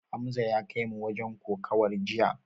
Hamza ya kaimu wajen kokawar jiya.